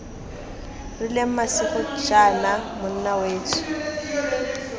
rileng masigo jaana monna wetsho